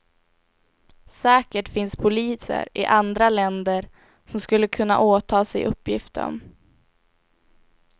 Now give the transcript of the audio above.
Säkert finns poliser i andra länder som skulle kunna åta sig uppgiften.